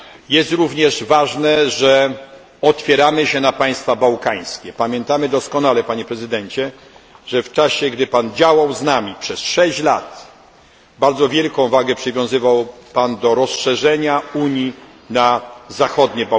Jest również ważne, że otwieramy się na państwa bałkańskie. Pamiętamy doskonale, Panie Prezydencie, że w czasie, kiedy Pan z nami działał, przez 6 lat, bardzo wielką wagę przywiązywał Pan do rozszerzenia Unii na Bałkany Zachodnie.